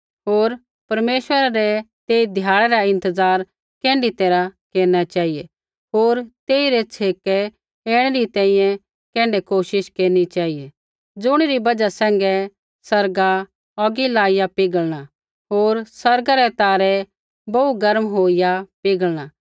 होर परमेश्वरै रै तेई ध्याड़ै री इंतज़ार कैण्ढै तैरहा केरना चेहिऐ होर तेइरै छ़ेकै ऐणै री तैंईंयैं कैण्ढै कोशिश केरनी चेहिऐ ज़ुणिरी बजहा सैंघै आसमान औगी लाईया पिघल़णा होर आसमान रै तारै बोहू गर्म होईया पिघल़णा